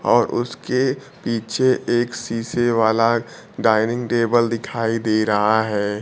और उसके पीछे एक शीशे वाला डाइनिंग टेबल दिखाई दे रहा है।